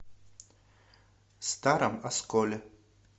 старом осколе